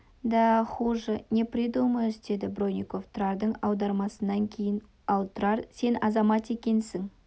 да хуже не придумаешь деді бронников тұрардың аудармасынан кейін ал тұрар сен азамат екенсің